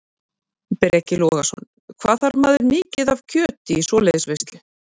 Breki Logason: Hvað þarf maður mikið af kjöti í svoleiðis veislu?